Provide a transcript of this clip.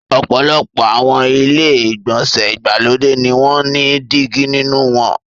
Ọ̀pọ̀lọpọ̀ àwọn ilé-ìgbọ̀nsẹ̀ ìgbàlódé ni wọ́n ní dígí nínú wọn.